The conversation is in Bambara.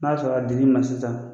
N'a y'a sɔrɔ a di l'i ma sisan.